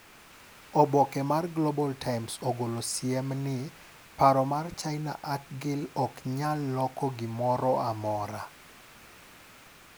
Oboke mar Global Times ogolo siem ni "Paro mar China Acgiel ok nyal lok gi gimoro amora."